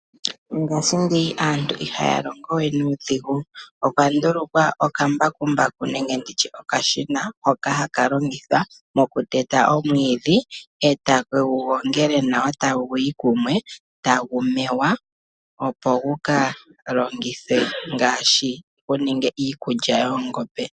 Mongashingeyi aantu ihaya longo we nuudhigu. Opwa ndulukwa okambakumbaku nenge nditye okashina, hoka haka langithwa mokuteta omwiidhi, e takegu gongele nawa taguyi kumwe, tagu mewa opo gukalongithwe ngaashi guninge iikulya yoongombe.